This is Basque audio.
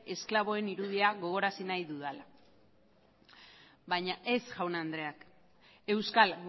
esklabuen irudia gogorazi nahi dudala baina ez jaun andreak euskal